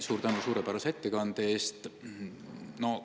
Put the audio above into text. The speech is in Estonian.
Suur tänu suurepärase ettekande eest!